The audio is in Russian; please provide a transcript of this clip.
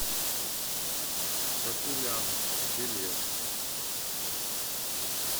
татулян билет